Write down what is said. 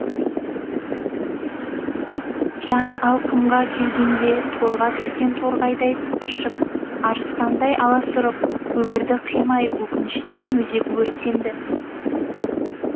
жан алқымға келгенде торға түскен торғайдай тыпыршып арыстандай аласұрып өмірді қимай өкініштен өзегі өртенді